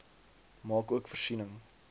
maak ook voorsiening